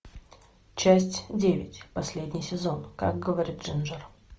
часть девять последний сезон как говорит джинджер